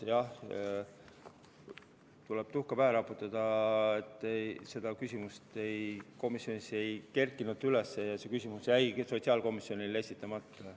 Jah, tuleb endale tuhka pähe raputada, et seda küsimust komisjonis ei tekkinud ja see jäigi sotsiaalkomisjonile esitamata.